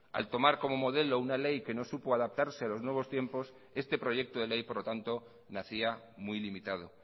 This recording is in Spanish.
al tomar como modelo una ley que no supo adaptarse a los nuevos tiempos este proyecto de ley por lo tanto nacía muy limitado